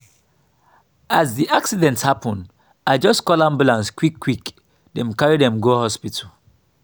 as di accident happen i just call ambulance quick-quick dem carry dem go hospital.